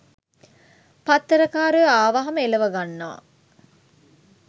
පත්තර කාරයෝ ආවහම එලව ගන්නවා.